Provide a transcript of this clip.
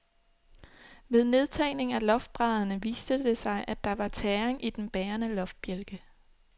Ved nedtagning af loftbrædderne viste det sig, at der var tæring i den bærende loftbjælke.